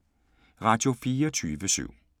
Radio24syv